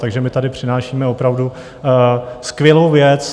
Takže my tady přinášíme opravdu skvělou věc.